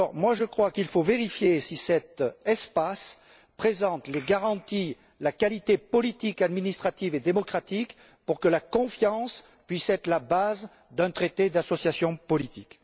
je crois qu'il faut vérifier si cet espace présente les garanties, la qualité politique, administrative et démocratique nécessaires pour que la confiance puisse être la base d'un traité d'association politique.